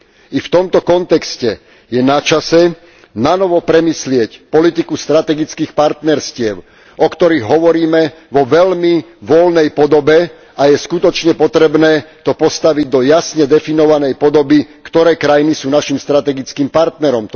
I v tomto kontexte je načase nanovo premyslieť politiku strategických partnerstiev, o ktorých hovoríme vo veľmi voľnej podobe, a je skutočne potrebné to postaviť do jasne definovanej podoby, ktoré krajiny sú našim strategickým partnerom.